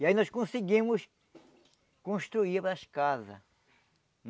E aí nós conseguimos construir as casas.